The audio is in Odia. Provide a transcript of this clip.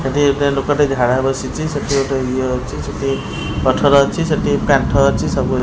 ସେଠି ଗୋଟେ ଲୋକ ଝାଡ଼ା ବସିଛି ସେଠି ଗୋଟେ ଇଏ ଅଛି ସେଠି ରେ ପଥର ଅଛି ସେଠି କାଟ ଅଛି।